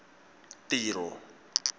tiro